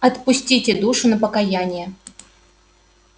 отпустите душу на покаяние